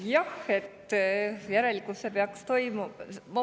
Jah, järelikult see peaks toimuma …